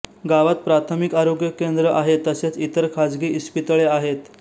गावात प्राथमिक आरोग्य केंद्र आहे तसेच इतर खाजगी इस्पितळे आहेत